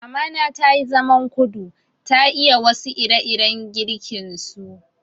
Mamana tayi zaman kudu, ta iya wasu ire-iren girkin su.